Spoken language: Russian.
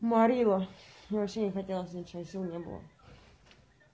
марила вообще не хотелось ничего и сил не было